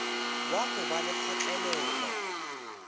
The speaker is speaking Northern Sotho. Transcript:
wa go ba le kgotlelelo